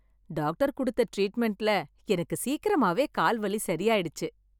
Doctor கொடுத்த டிரீட்மெண்ட்ல எனக்கு சீக்கிரமாகவே கால் வலி சரியாயிடுச்சு.